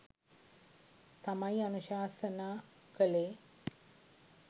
තමයි අනුශාසනා කළේ.